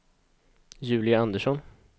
Julia Andersson